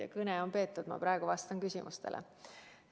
Jah, kõne on peetud, ma praegu vastan küsimustele.